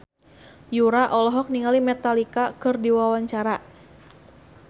Yura olohok ningali Metallica keur diwawancara